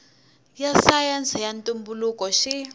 ya sayense ya ntumbuluko xi